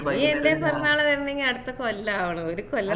ഇനി എൻ്റെ പിറന്നാള് വരാണെങ്കി അടുത്ത കൊല്ലം ആവണം ഒരു കൊല്ലം